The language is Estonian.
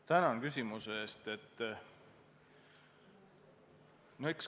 Tänan küsimuse eest!